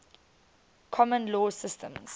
common law systems